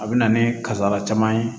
A bɛ na ni kasara caman ye